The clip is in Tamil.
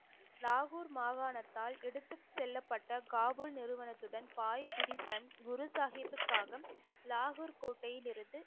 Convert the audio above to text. லாகூர் மாகாணத்தால் எடுத்து செல்லப்பட்ட காபூல் நிறுவனத்துடன் பாய் பிரிஸ்ன் குரு சாஹிப்புக்காக லாகூர் கோட்டையிலிருந்து